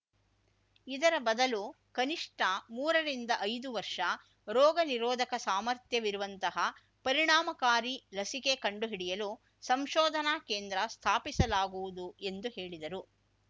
ಇದರ ಬದಲು ಕನಿಷ್ಠ ಮೂರರಿಂದ ಐದು ವರ್ಷ ರೋಗ ನಿರೋಧಕ ಸಾಮರ್ಥ್ಯವಿರುವಂತಹ ಪರಿಣಾಮಕಾರಿ ಲಸಿಕೆ ಕಂಡು ಹಿಡಿಯಲು ಸಂಶೋಧನಾ ಕೇಂದ್ರ ಸ್ಥಾಪಿಸಲಾಗುವುದು ಎಂದು ಹೇಳಿದರು